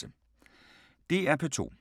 DR P2